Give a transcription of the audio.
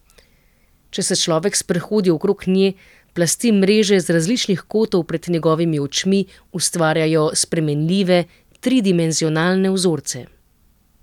Če se človek sprehodi okrog nje, plasti mreže z različnih kotov pred njegovimi očmi ustvarjajo spremenljive, tridimenzionalne vzorce.